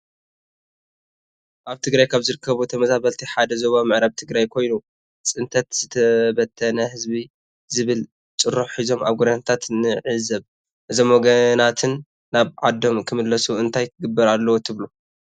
አብ ትግራይ ካብ ዝርከቡ ተመዛበልቲ ሓደ ዞባ ምዕራብ ትግራይ ኮይኑ ፅንተት ዝተበተነ ህዝቢ ዝብል ጨርሖ ሒዞም አብ ጎደናታት ንዕዘብ ። እዞም ወገናትና ናብ ዓድም ክምለሱ እንታይ ክግበር አለዎ ትብሉ?